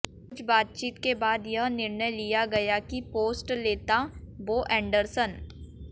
कुछ बातचीत के बाद यह निर्णय लिया गया कि पोस्ट लेता बो एंडरसन